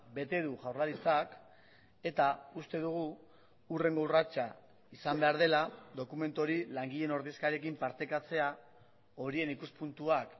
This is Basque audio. bete du jaurlaritzak eta uste dugu hurrengo urratsa izan behar dela dokumentu hori langileen ordezkariekin partekatzea horien ikuspuntuak